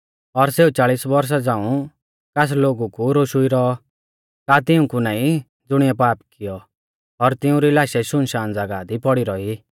और सेऊ चालिस बौरशा झ़ांऊ कास लोगु कु रोशुई रौऔ का तिंऊ कु नाईं ज़ुणिऐ पाप कियौ और तिउंरी लाशै सुनसान ज़ागाह दी पौड़ी रौई